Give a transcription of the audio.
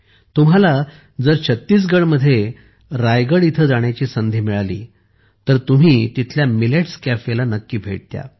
जर तुम्हाला छत्तीसगडमध्ये रायगड येथे जाण्याची संधी मिळाली तर तुम्ही तिथल्या मिलेट्स कॅफेला नक्की भेट द्या